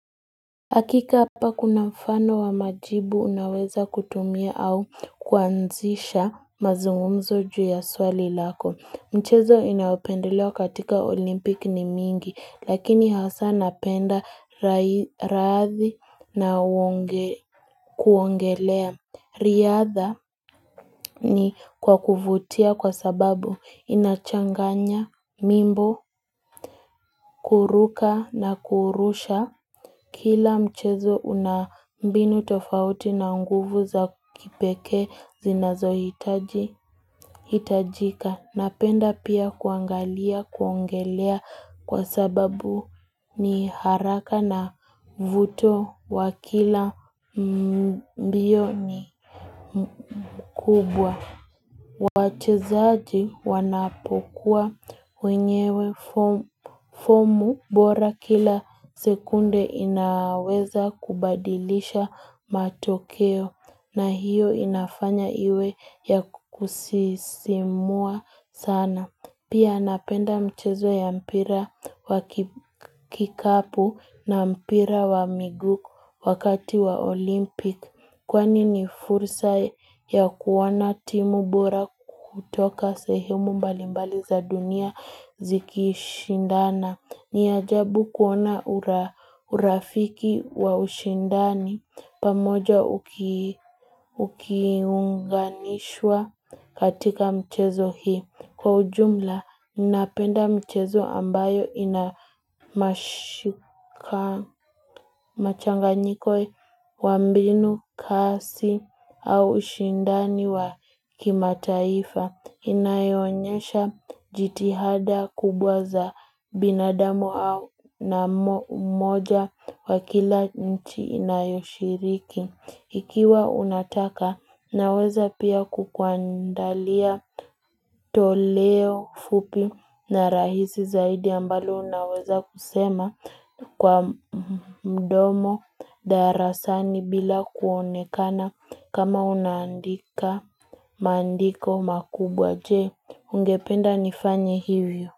Hakika hapa kuna mfano wa majibu unaweza kutumia au kuanzisha mazungumzo juu ya swali lako. Mchezo inaopendelewa katika olimpiki ni mingi, lakini hasa napenda raadhi na kuongelea. Riadha ni kwa kuvutia kwa sababu inachanganya mimbo, kuruka na kurusha. Kila mchezo unambinu tofauti na nguvu za kipeke zinazo hitajika. Napenda pia kuangalia, kuongelea kwa sababu ni haraka na vuto wa kila mbioni kubwa. Wache zaaji wanapokuwa wenyewe fomu bora kila sekunde inaweza kubadilisha matokeo na hiyo inafanya iwe ya kusisimua sana. Pia napenda mchezo ya mpira wa kikapu na mpira wa migu wakati wa olimpik Kwani ni fursa ya kuona timu bora kutoka sehimu mbalimbali za dunia ziki shindana ni ajabu kuona urafiki wa ushindani pamoja ukiunganishwa katika mchezo hii Kwa ujumla, ninapenda mchezo ambayo inamachanganyiko wa mbinu, kasi, au ushindani wa kimataifa Inayonyesha jitihada kubwa za binadamu au na moja wa kila nchi inayoshiriki ikiwa unataka, naweza pia kukuandalia Toleo fupi na rahisi zaidi ambalo unaweza kusema kwa mdomo darasani bila kuonekana kama unaandika mandiko makubwa je ungependa nifanye hivyo.